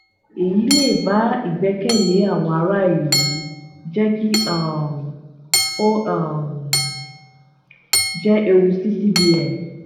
èyí le ba ìgbẹ́kẹ̀lé àwọn ará ìlú jẹ́ kí um ó um jẹ ewu sí cbn. um